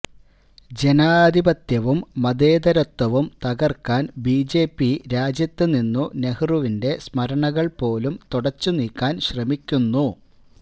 ജനാധിപത്യവും മതേതരത്വവും തകർക്കാൻ ബിജെപി രാജ്യത്തുനിന്നു നെഹ്റുവിന്റെ സ്മരണകൾ പോലും തുടച്ചു നീക്കാൻ ശ്രമിക്കുന്നു